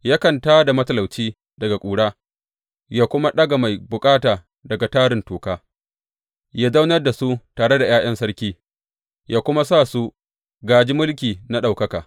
Yakan tā da matalauci daga ƙura, yă kuma ɗaga mai bukata daga tarin toka; yă zaunar da su tare da ’ya’yan sarki; yă kuma sa su gāji mulki na ɗaukaka.